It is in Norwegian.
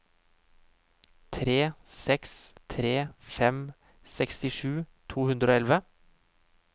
tre seks tre fem sekstisju to hundre og elleve